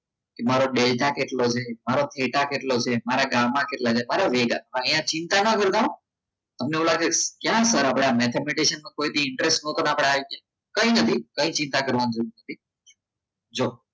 એ મારો ડેટા કેટલો છે મારો થેટા કેટલો છે મારો ગામાં કેટલો છે અરે મેગા અહીંયા ચિંતા ના કરતા તમને એવું લાગે ક્યાં ક્યાં આપણે mathematics કોઇદી interest અહિયાં કઈ નથી કઈ ચિંતા કરવા નથી જો